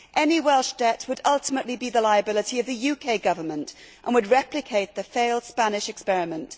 Any Welsh debt would ultimately be the liability of the UK Government and would replicate the failed Spanish experiment.